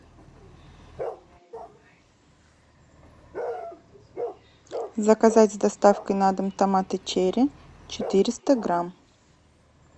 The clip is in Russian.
заказать с доставкой на дом томаты черри четыреста грамм